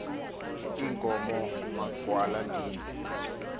iinkomo magwala ndini